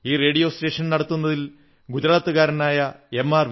ഈ radio station നടത്തുന്നതിൽ ഗുജറാത്തുകാരനായ എം